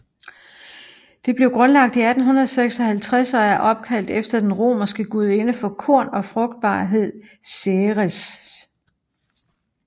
Det blev grundlagt i 1856 og er opkaldt efter den romerske gudinde for korn og frugtbarhed Ceres